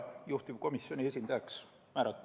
Juhtivkomisjoni esindajaks määrati mind.